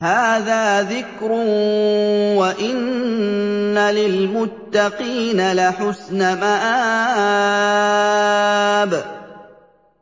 هَٰذَا ذِكْرٌ ۚ وَإِنَّ لِلْمُتَّقِينَ لَحُسْنَ مَآبٍ